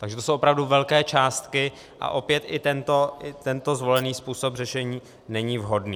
Takže to jsou opravdu velké částky, a opět i tento zvolený způsob řešení není vhodný.